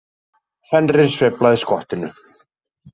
Fenrir sveiflaði skottinu.